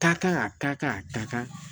Taa kan a taa kan a ta kan